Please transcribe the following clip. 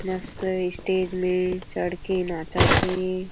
मस्त स्टेज में चढ़ के नाचत हे।